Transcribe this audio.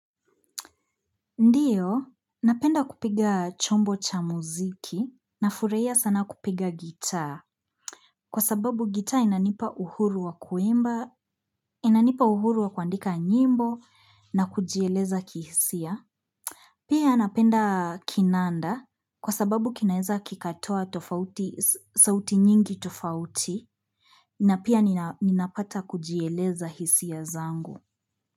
Ndiyo, napenda kupiga chombo cha muziki, nafurahia sana kupiga gitaa, kwa sababu gitaa inanipa uhuru wa kuimba, inanipa uhuru wa kuandika nyimbo, na kujieleza kihisia. Pia napenda kinanda, kwa sababu kinaeza kikatoa tofauti, sauti nyingi tofauti, na pia ninapata kujieleza hisia zangu.